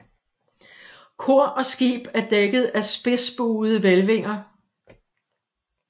Kor og skib er dækket af spidsbuede hvælvinger